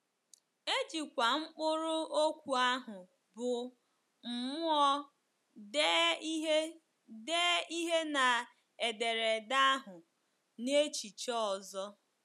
E jikwa mkpụrụ okwu ahụ bụ́ “ mmụọ ” dee ihe dee ihe na ederede ahụ n’echiche ọzọ.